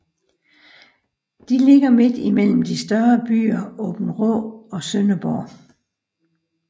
De ligger midt imellem de større byer Aabenraa og Sønderborg